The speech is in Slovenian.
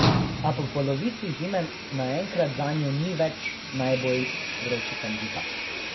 A po polovici zime naenkrat zanjo ni več najbolj vroči kandidat.